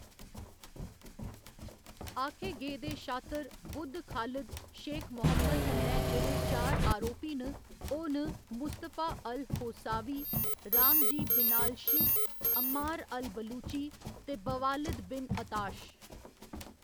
आखे गेदे शात्तर बुद्ध खालिद शेख मोहम्मद कन्नै जेह्‌‌ड़े चार आरोपी न, ओह्‌‌ न Mustafa al Hawsawi, Ramzi Binalshibh, Ammar al Baluchi ते बवालिद बिन अताश।